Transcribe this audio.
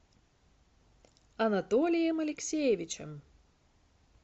анатолием алексеевичем